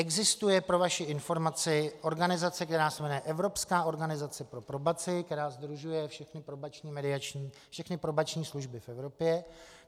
Existuje, pro vaši informaci, organizace, která se jmenuje Evropská organizace pro probaci, která sdružuje všechny probační služby v Evropě.